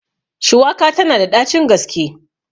Shuwaka tana da ɗacin gaske.